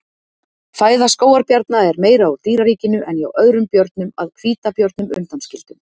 fæða skógarbjarna er meira úr dýraríkinu en hjá öðrum björnum að hvítabjörnum undanskildum